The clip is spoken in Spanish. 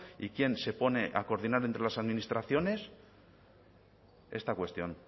y quién se pone a coordinar entre las administraciones esta cuestión